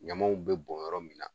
Ɲamaw bɛ bɔn yɔrɔ min